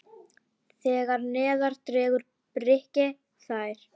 Þegar neðar dregur breikka þær.